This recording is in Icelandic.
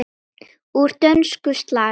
Úr dönsku: slag.